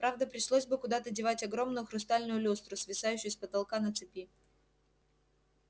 правда пришлось бы куда-то девать огромную хрустальную люстру свисающую с потолка на цепи